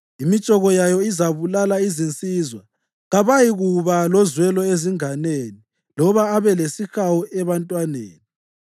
Imitshoko yawo izabulala izinsizwa; kawayikuba lozwelo ezinganeni loba abe lesihawu ebantwaneni.